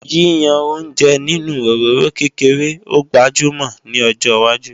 Yíyan oúnjẹ nínú òróró kékeré ó gbajúmò ní ọjọwájú